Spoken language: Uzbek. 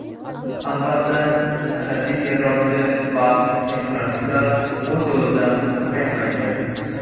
Albatta, ashaddiy terrorchi va ekstremistlar o‘z yo‘lidan qaytmaydi.